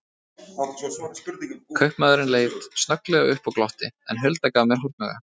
Kaupamaðurinn leit snögglega upp og glotti, en Hulda gaf mér hornauga.